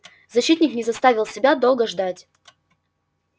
защитник не заставил себя долго ждать